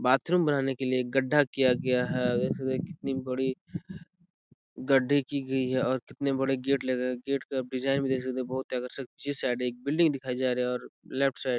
bathroom बनाने के लिए एक गड्डा किया गया है देख सकते है कितनी बड़ी गड़े की गई है और कितने बड़े गेट लग रहे है गेट का डिज़ाइन भी देख सकते है बहुत आकर्षित इस साइड एक बिल्डिंग दिखाई जा रही है और लेफ्ट साइड --